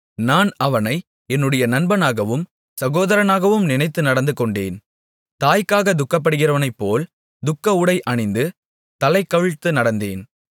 நான் அவனை என்னுடைய நண்பனாகவும் சகோதரனாகவும் நினைத்து நடந்துகொண்டேன் தாய்க்காகத் துக்கப்படுகிறவனைப்போல் துக்கஉடை அணிந்து தலைகவிழ்த்து நடந்தேன்